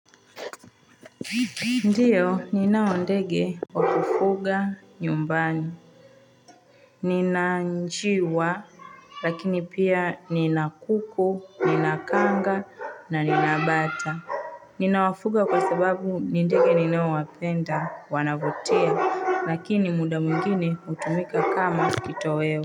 Ndiyo ninao ndege wa kufuga nyumbani Nina njiwa Lakini pia nina kuku, nina kanga na nina bata Ninawafuga kwa sababu ni ndege ninaowapenda wanavutia lakini muda mwingine hutumika kama kitoweo.